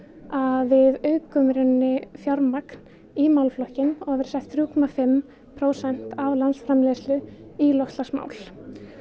að við aukum í rauninni fjármagn í málaflokkinn og verði sett þrjú komma fimm prósent af landsframleiðslu í loftslagsmál